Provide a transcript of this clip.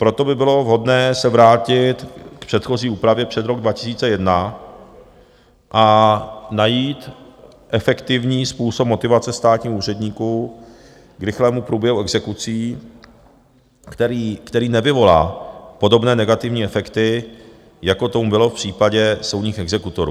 Proto by bylo vhodné se vrátit k předchozí úpravě před rok 2001 a najít efektivní způsob motivace státních úředníků k rychlému průběhu exekucí, který nevyvolá podobné negativní efekty, jako tomu bylo v případě soudních exekutorů.